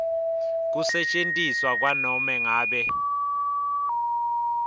kusetjentiswa kwanobe ngabe